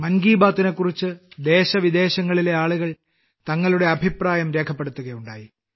മൻ കി ബാത്തിനെക്കുറിച്ച് ദേശവിദേശങ്ങളിലെ ആളുകൾ തങ്ങളുടെ അഭിപ്രായം രേഖപ്പെടുത്തുകയുണ്ടായി